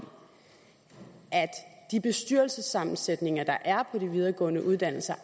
at de bestyrelsessammensætninger der er på de videregående uddannelser